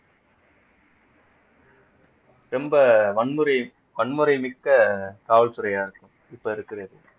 ரொம்ப வன்முறை வன்முறை மிக்க காவல்துறையா இருக்கு இப்ப இருக்கிறது